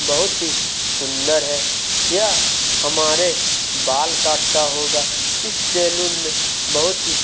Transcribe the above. बहुत ही सुंदर है यह हमारे बाल काटता होगा इस साल में बहुत ही--